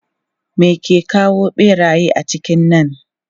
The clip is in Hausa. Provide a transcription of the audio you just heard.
Me ke kawo ɓeraye cikin nan?